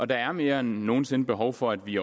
der er mere end nogen sinde behov for at vi